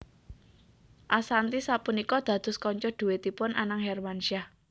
Ashanty sapunika dados kanca dhuètipun Anang Hermansyah